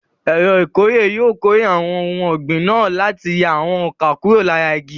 Ẹ̀rọ ìkórè yóò kórè àwọn ohun ọ̀gbìn náà láti yà àwọn ọkà kúrò lára igi.